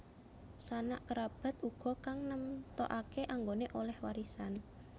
Sanak kerabat uga kang nemtokake anggone oleh warisan